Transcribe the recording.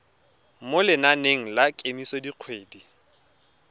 mo lenaneng la kemiso dikgwedi